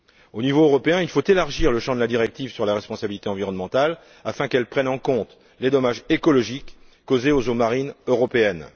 Au niveau européen, il faut élargir le champ de la directive sur la responsabilité environnementale afin qu'elle prenne en compte les dommages écologiques causés aux eaux marines européennes.